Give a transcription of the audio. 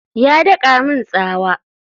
Ya daka min tsawa?